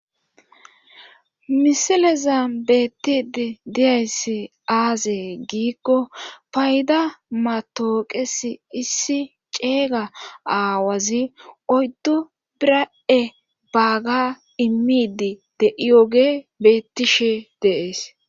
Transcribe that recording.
Misileza beettidi diyayssi aazee giikko payda matooqesi issi ceega aawazi oyddu biradhe baaga immidi de7iyoge bettishe de7ees.